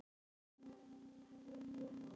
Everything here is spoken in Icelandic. En það er annað mál.